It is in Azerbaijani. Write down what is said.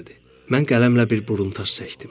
Mən qələmlə bir buruntaj çəkdim.